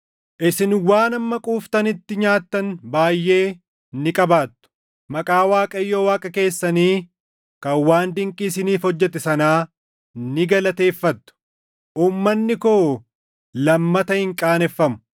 Isin waan hamma quuftanitti nyaattan baayʼee ni qabaattu; maqaa Waaqayyo Waaqa keessanii kan waan dinqii isiniif hojjete sanaa ni galateeffattu; uummanni koo lammata hin qaaneffamu.